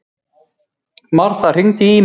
Martha, hringdu í Ímu.